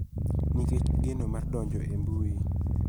Nikech geno mar donjo e mbui.